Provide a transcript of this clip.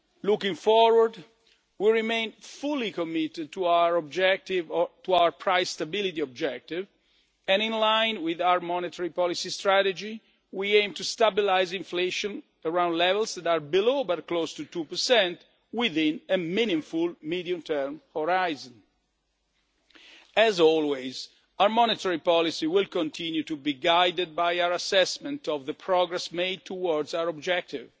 Looking forward, we remain fully committed to our price stability objective and in line with our monetary policy strategy we aim to stabilise inflation around levels that are below, but close to, 2 within a meaningful medium term horizon. As always, our monetary policy will continue to be guided by our assessment of the progress made towards our objective.